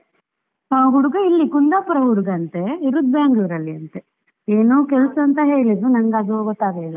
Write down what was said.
ಹಾ ಹುಡುಗ ಇಲ್ಲಿ ಕುಂದಾಪುರ ಹುಡುಗ ಅಂತೇ, ಇರುದು Bangalore ಅಲ್ಲಿ ಅಂತೇ, ಏನೋ ಕೆಲಸ ಅಂತ ಹೇಳಿದ್ಲು, ನಂಗದು ಗೊತ್ತಾಗ್ಲಿಲ್ಲಾ.